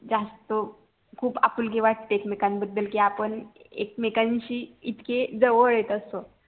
जास्त खूप आपुलकी वाटते एकमेकान बद्दल कि आपण एकमेकांशी इतके जवळ येत अस्तो